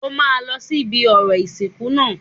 O máa lọ sí ibi orò ìsìnkú náà